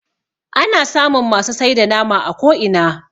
ana samun masu sai da nama a ko'ina